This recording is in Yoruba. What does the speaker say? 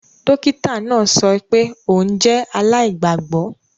Dokita naa sọ pe oun jẹ alaigbagbọ